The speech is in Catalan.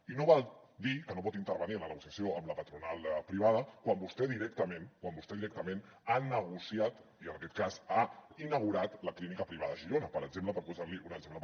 i no val dir que no pot intervenir en la negociació amb la patronal privada quan vostè directament quan vostè directament ha negociat i en aquest cas ha inaugurat la clínica privada a girona per exemple per posar li un exemple